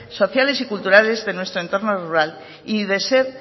sociales y culturales de nuestro entorno rural y de ser